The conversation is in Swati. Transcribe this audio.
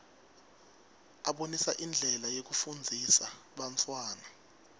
abonisa indlela yekufundzisa bantfwana